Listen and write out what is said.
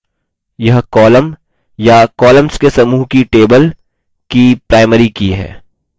यह column या columns के समूह को table की primary की है